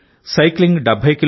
సైక్లింగ్70 కి